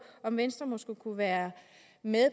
om venstre måske kunne være med